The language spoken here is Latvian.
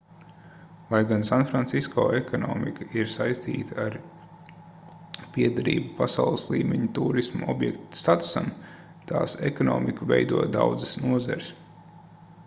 lai gan sanfrancisko ekonomika ir saistīta ar piederību pasaules līmeņa tūrisma objekta statusam tās ekonomiku veido daudzas nozares